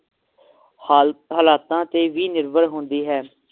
ਹਾਲ~ ਹਾਲਾਤਾਂ ਤੇ ਵੀ ਨਿਰਭਰ ਹੁੰਦੀ ਹੈ